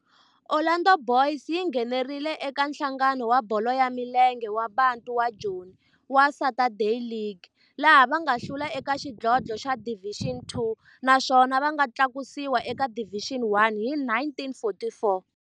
Orlando Boys yi nghenelerile eka Nhlangano wa Bolo ya Milenge wa Bantu wa Joni wa Saturday League, laha va nga hlula eka xidlodlo xa Division Two naswona va nga tlakusiwa eka Division One hi 1944.